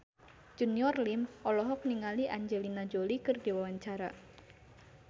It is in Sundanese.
Junior Liem olohok ningali Angelina Jolie keur diwawancara